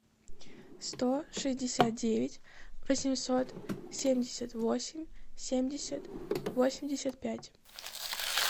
сто шестьдесят девять восемьсот семьдесят восемь семьдесят восемьдесят пять